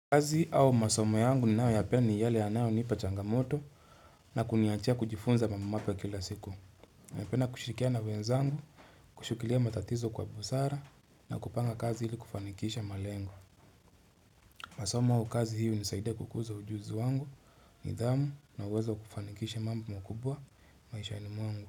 Kazi au masomo yangu ninayo yapenda ni yale yanayo niipa changamoto na kuniachia kujifunza mambo mapya kila siku Napenda kushirikia na wenzangu, kushukilia matatizo kwa busara na kupanga kazi hili kufanikisha malengo. Masomo au kazi hii hunisaidia kukuza ujuzi wangu, nidhamu na uwezo wa kufanikisha mambo mkubwa, maishaini mwangu.